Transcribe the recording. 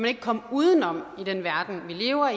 ikke komme udenom i den verden vi lever